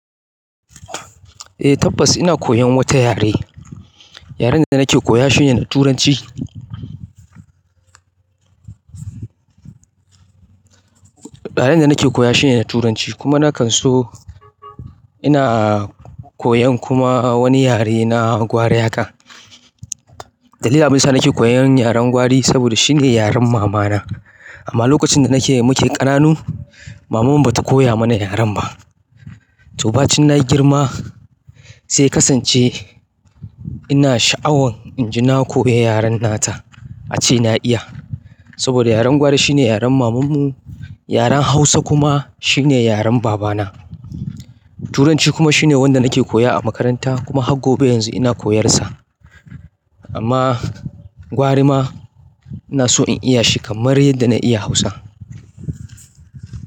Eh tabbas ina koyan wata yare. Yaren da nake koya shi ne Turanci. Yaren da nake koya shi ne na Turanci kuma na kan so ina koyan kuma wani yare na gwarayaka. Dalilin abinda yasa nake koyan yaren gwari saboda shine yaren mamana amma lokacin da nake muke ƙananun maman mu ba ta koya mana yaren ba. To ba cin na girma sai ya kasance ina sha'awan inji na koya yaren nata ace na iya saboda yaren gwari shine yaren mamanmu. Yaren Hausa kuma shine yaren babana. Turanci kuma shine wanda nake koya a makaranta kuma har gobe yanzu ina koyarsa amma gwari ma ina so in iya shi kamar yadda na iya Hausa.